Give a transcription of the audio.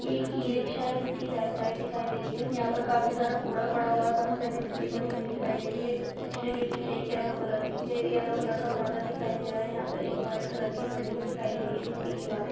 एक e rickshaw है। जिसकी बैक साइड दिखाई दे रही है। यहाँ पर काफी सारा कूड़ा पड़ा हुआ है। काफी सारे मिट्टी पड़ी हुई दिखाई दे रही है। रिक्शे के पीछे येलो कलर की येलो का पर्दा दिखाई दे रहा है। यहाँ पे एक व्हाइट कलर की बिल्डिंग दिखाई दे रही है। जिसकी दिवारे --